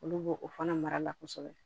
Olu b'o o fana mara la kosɛbɛ